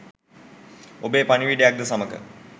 ඔබේ පණිවුඩයක් ද සමඟ